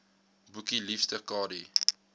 boekie liefste kadie